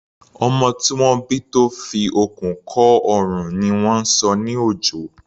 Ọmọ tí wọ́n bí tó fi okùn kọ́ ọrùn ni wọ́n ń sọ ní Òjó.